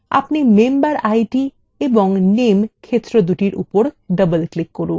এবং আপনি memberid এবং name ক্ষেত্রএর উপর double click করুন